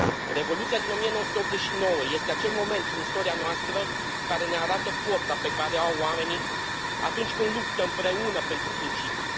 Revoluția din 1989 este acel moment din istoria noastră care ne arată forța pe care o au oamenii atunci când luptă împreună pentru principii.